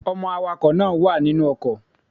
Ọmọ awakọ̀ náà wà nínú ọkọ̀.